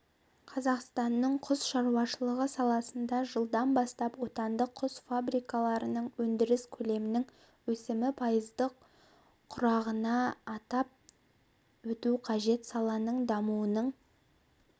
қазақстанның құс шаруашылығы саласында жылдан бастап отандық құсфабрикаларыныңөндіріс көлемінің өсімі пайызды құрағанынатап өту қажет саланың дамуының